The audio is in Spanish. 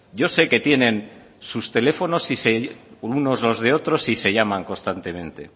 yo sé que tienen sus teléfonos unos los de otros y se llaman constantemente